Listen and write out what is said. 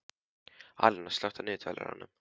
Alíana, slökktu á niðurteljaranum.